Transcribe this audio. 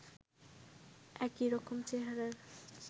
একই রকম চেহারার